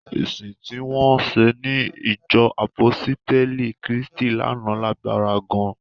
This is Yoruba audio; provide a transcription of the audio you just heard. Ìsìn tí wọ́n ṣe ní ìjọ àpọ́sítélì Krístì lánàá lágbára gan-an